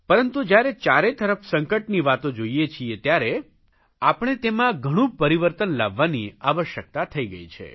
પરંતુ જયારે ચારે તરફ સંકટની વાતો જોઇએ છીએ ત્યારે આપણે તેમાં ઘણું પરિવર્તન લાવવાની આવશ્યકતા થઇ ગઇ છે